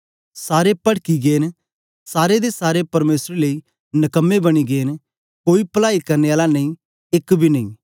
सारे पडकी गै न सारें दे सारें परमेसर लेई नकम्मे बनी गै न कोई पलाई करने आला नेई एक बी नेई